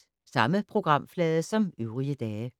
Samme programflade som øvrige dage